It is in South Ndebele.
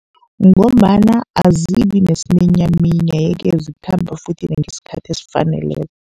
Ngombana azibi nesiminyaminya, ye-ke zikhamba futhi nangesikhathi esifaneleko.